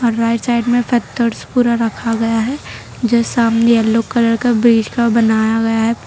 Right side में पत्थर पूरा रखा गया है जो सामने येलो कलर का ब्रिज का बनाया गया है।